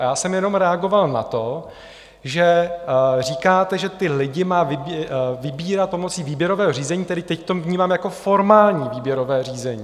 A já jsem jenom reagoval na to, že říkáte, že ty lidi má vybírat pomocí výběrového řízení, tedy teď to vnímám jako formální výběrové řízení.